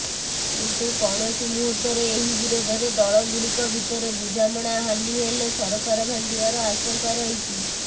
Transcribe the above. କିନ୍ତୁ କୌଣସି ମୁହୂର୍ତ୍ତରେ ଏହି ବିରୋଧୀ ଦଳଗୁଡ଼ିକ ଭିତରେ ବୁଝାମଣା ହାନୀ ହେଲେ ସରକାର ଭାଙ୍ଗିବାର ଆଶଙ୍କା ରହିଛି